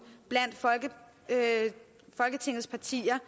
blandt folketingets partier